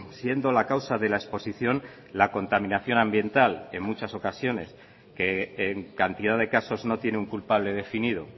siendo la causa de la exposición la contaminación ambiental en muchas ocasiones que en cantidad de casos no tiene un culpable definido